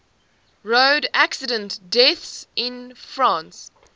road accident deaths in france